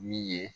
Min ye